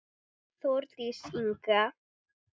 Þórdís Inga.